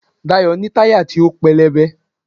Dayo ní tayá to pelebè